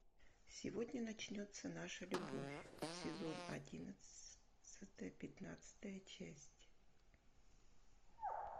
сегодня начнется наша любовь сезон одиннадцатый пятнадцатая часть